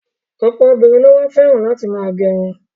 Ọ̀pọ̀ obìnrin ló wá fẹ́ràn láti ma gẹrun.